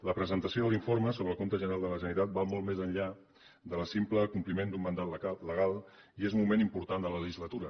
la presentació de l’informe sobre el compte general de la generalitat va molt més enllà del simple compliment d’un mandat legal i és un moment important de la legislatura